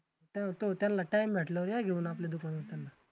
तर तो त्यांला Time भेटल्यावर या घेऊन आपल्या दुकानावर त्यांला.